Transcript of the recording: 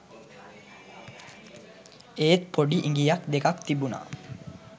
එත් පොඩි ඉඟියක් දෙකක් තිබුනා